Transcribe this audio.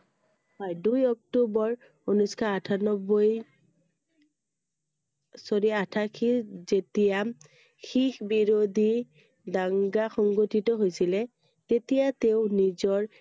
হয়, দুই অক্টোবৰ ঊনৈছ শ আঠানব্বৈ আঠাশীত যেতিয়া শিখ বিৰোধী দাঙ্গা সংগঠিত হৈছিলে তেতিয়া তেওঁৰ নিজৰ